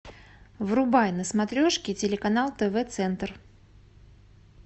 врубай на смотрешки телеканал тв центр